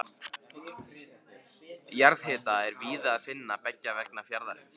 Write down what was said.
Jarðhita er víða að finna beggja vegna fjarðarins.